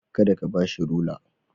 Kar ka ba shi rular.